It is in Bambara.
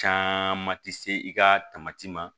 Caman ti se i ka ma